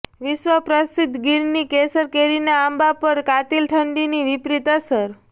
વિશ્વ પ્રસિદ્ધ ગીરની કેસર કેરીના આંબા પર કાતિલ ઠંડીની વિપરીત અસર